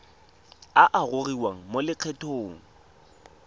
a a gogiwang mo lokgethong